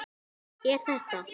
Er þetta.?